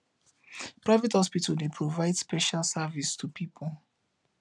private hospital dey provide special service to pipo